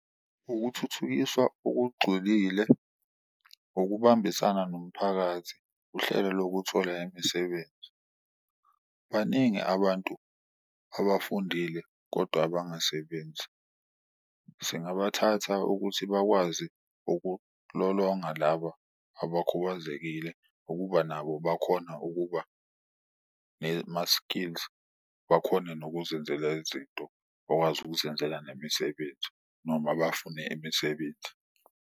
Ukuthuthukiswa okugxulile, ukubambisana nomphakathi uhlelo lokuthola imisebenzi. Baningi abantu abafundile kodwa abangasebenzi. Singabathatha ukuthi bakwazi ukulolonga laba abakhubazekile ukuba nabo bakhona ukuba ma-skills, bakhone nokuzenzela izinto, bakwazi ukuzenzela nemisebenzi noma bafune imisebenzi.